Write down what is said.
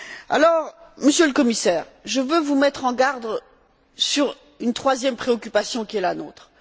Alors, Monsieur le Commissaire, je veux vous mettre en garde à propos d'une troisième préoccupation qui est la nôtre.